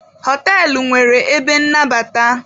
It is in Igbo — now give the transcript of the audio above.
Họtelụ nwere ebe nnabata.